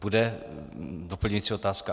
Bude doplňující otázka?